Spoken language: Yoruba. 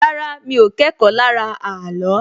Rárá, mi ò kẹ́kọ̀ọ́ lára ààlọ́